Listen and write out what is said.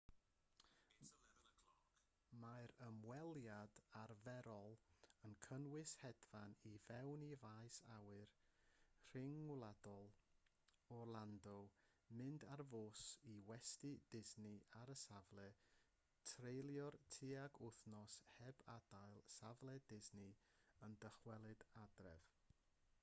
mae'r ymweliad arferol yn cynnwys hedfan i mewn i faes awyr rhyngwladol orlando mynd ar fws i westy disney ar y safle treulio tuag wythnos heb adael safle disney a dychwelyd adref